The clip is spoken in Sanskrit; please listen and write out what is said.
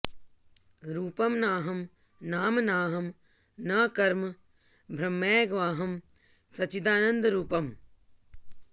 रूपं नाहं नाम नाहं न कर्म ब्रह्मैवाहं सच्चिदानन्दरूपम्